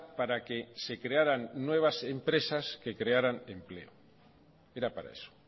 para que se crearan nuevas empresas que crearan empleo era para eso